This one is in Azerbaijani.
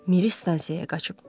Miri stansiyaya qaçıb.